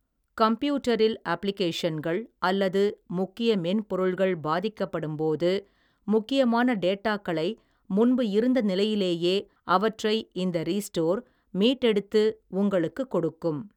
கம்ப்யூட்டரில் அப்ளிகேஷன்கள் அல்லது முக்கிய மென்பொருள்கள் பாதிக்கப்படும் போது முக்கியமான டேட்டாக்களை முன்பு இருந்த நிலையிலேயே அவற்றை இந்த ரீஸ்டோர் மீட்டெடுத்து உங்களுக்குக் கொடுக்கும்.